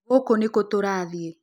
Gũkũ nĩ kũ tũrathiĩ?